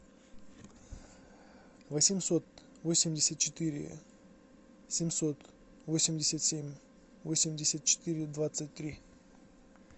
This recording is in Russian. восемьсот восемьдесят четыре семьсот восемьдесят семь восемьдесят четыре двадцать три